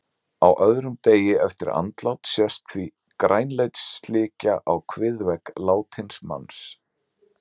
Á öðrum degi eftir andlát sést því grænleit slikja á kviðvegg látins manns.